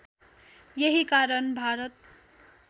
यही कारण भारत